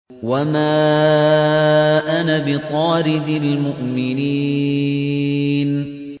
وَمَا أَنَا بِطَارِدِ الْمُؤْمِنِينَ